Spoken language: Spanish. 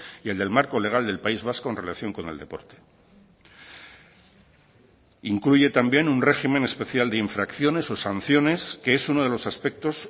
y el del marco legal del país vasco en relación con el deporte incluye también un régimen especial de infracciones o sanciones que es uno de los aspectos